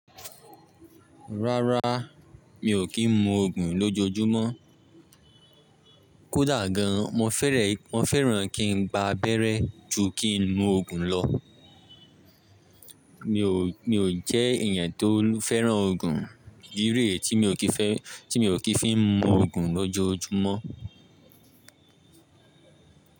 Rárá, mi ò kí ń mu Ògùn lójojúmọ́. Kódà gan, mo fẹ́ràn kí ń gba abẹ́rẹ́ ju kí ń mu Ògùn lọ. Mi ò jẹ́ èèyàn tó fẹ́ràn Ògùn, ìdi ree ti mi ò kí fi ń mu Ògùn lójoojúmọ́